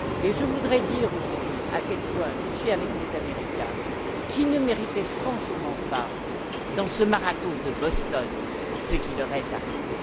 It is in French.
Je voudrais dire aujourd'hui à quel point je suis avec les Américains, qui ne méritaient franchement pas, dans ce marathon de Boston, ce qui leur est arrivé.